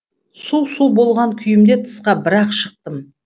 су су болған күйімде тысқа бір ақ шықтым